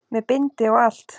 Með bindi og allt!